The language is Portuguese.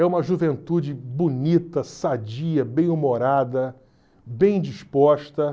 É uma juventude bonita, sadia, bem humorada, bem disposta.